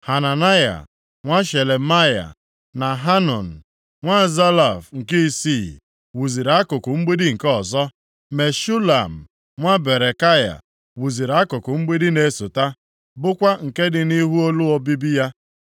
Hananaya nwa Shelemaya na Hanun nwa Zalaf nke isii, wuziri akụkụ mgbidi nke ọzọ. Meshulam nwa Berekaya wuziri akụkụ mgbidi na-esota, bụkwa nke dị nʼihu ụlọ obibi ya.